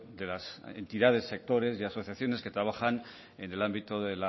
de las entidades sectores y asociaciones que trabajan en el ámbito